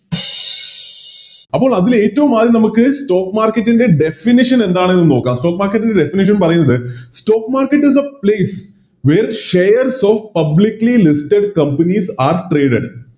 അപ്പോൾ അതിൽ ഏറ്റോം ആദ്യം നമുക്ക് Stock market ൻറെ Definiton എന്താന്ന് നോക്കാം Stock market ൻറെ definition പറയുന്നത് Stock markt is the place where shares of publically listed companies are traded